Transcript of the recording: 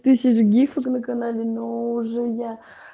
тысяч гифок на канале но уже я